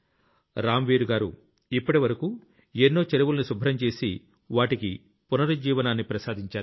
రామ్ వీర్ గారు ఇప్పటివరకూ ఎన్నో చెరువుల్ని శుభ్రం చేసి వాటికి పునరుజ్జీవనాన్ని ప్రసాదించారు